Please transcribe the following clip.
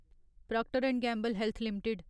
proctor and Gamble Health limited